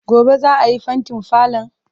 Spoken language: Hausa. Gobe ​​za a yi fentin falon?